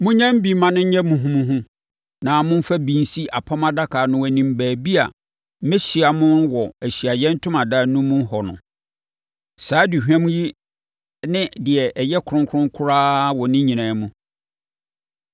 Monyam bi ma ɛnyɛ muhumuhu na momfa bi nsi Apam Adaka no anim baabi a mɛhyia mo wɔ Ahyiaeɛ Ntomadan no mu hɔ no. Saa aduhwam yi ne deɛ ɛyɛ kronkron koraa wɔ ne nyinaa mu.